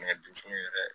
Ɲɔ dun yɛrɛ